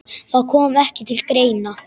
Það kom ekki til greina.